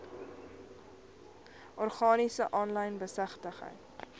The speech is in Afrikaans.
organisasies aanlyn besigtig